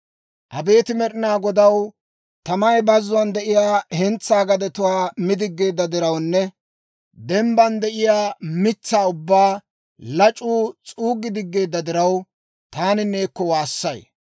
Abeet Med'inaa Godaw, tamay bazzuwaan de'iyaa hentsaa gadetuwaa mi diggeedda dirawunne dembban de'iyaa mitsaa ubbaa lac'uu s'uuggi diggeedda diraw, taani neekko waassay.